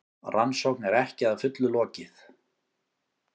Rannsókn er ekki að fullu lokið